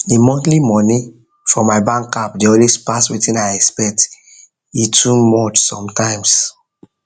the monthly money for my bank app dey always pass wetin i expect e too much sometimes